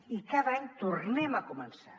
i cada any tornem a començar